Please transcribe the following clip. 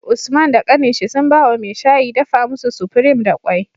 Usman da kanin shi sun bawa mai shayi dafa musu supreme da kwai